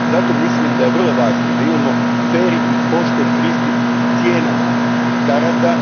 Zato mislim da je vrlo važno da imamo fer i pošten pristup cijenama karata.